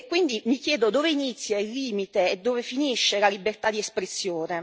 E quindi mi chiedo dove inizia il limite e dove finisce la libertà di espressione.